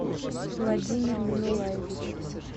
владимир минуллаевич